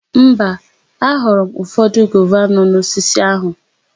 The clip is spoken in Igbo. Mba, aghọrọ m ụfọdụ gova nọ n'osisi áhụ̀.